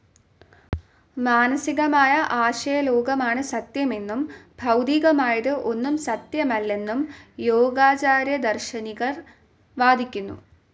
മാനസ്സികമായ ആശയലോകമാണ് സത്യമെന്നും ഭൗതികമായത് ഒന്നും സത്യമല്ലെന്നും യോഗാചാര്യദാർശനികർ വാദിക്കുന്നു.